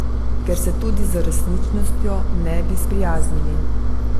Ker se tudi z resničnostjo ne bi sprijaznili.